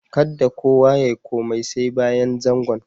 Kadda kowa ya yi komi sai bayan zangon.